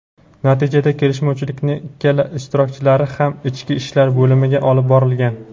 natijada kelishmovchilikning ikkala ishtirokchilari ham ichki ishlar bo‘limiga olib borilgan.